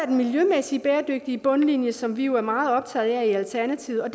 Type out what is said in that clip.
den miljømæssige bæredygtige bundlinje som vi jo er meget optaget af i alternativet og